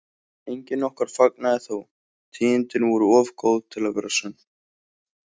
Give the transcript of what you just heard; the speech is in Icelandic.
Enginn okkar fagnaði þó, tíðindin voru of góð til að vera sönn.